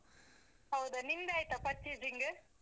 ಹೌದಾ! ನಿಮ್ದಾಯ್ತಾ purchasing ?